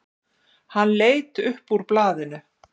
Hann leit upp úr blaðinu.